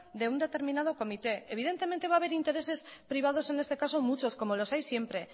de un determinado comité evidentemente va a haber intereses privados en este caso muchos como los hay siempre